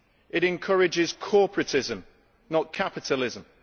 It encourages corporatism, not capitalism